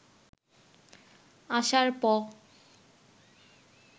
আসার প